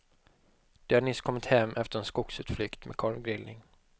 De har nyss kommit hem efter en skogsutflykt med korvgrillning.